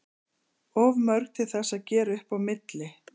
Of mörg til þess að gera upp á milli.